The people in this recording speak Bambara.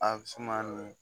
A suma min